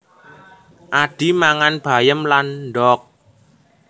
Adhi mangang bayem lan ndok